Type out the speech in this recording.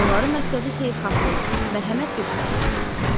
Onların məqsədi xeyirxahlıq, mərhəmət göstərməkdir.